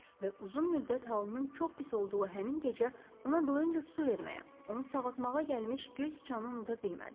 Və uzun müddət halının çox pis olduğu həmin gecə ona doyunca su verməyə, onu sağaltmağa gəlmiş göy siçanı unuda bilmədi.